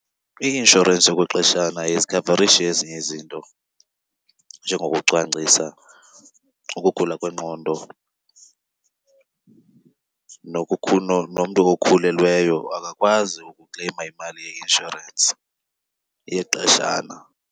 I-inshorensi yokwexeshana ayizikhavarishi ezinye izinto njengokucwangcisa, ukugula kwengqondo. Nomntu okhulelweyo akakwazi ukukleyima imali yeinshorensi yexeshana.